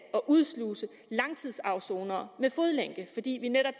udsluse langtidsafsonere med fodlænke fordi vi netop